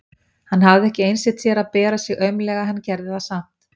Hann hafði ekki einsett sér að bera sig aumlega en hann gerði það samt.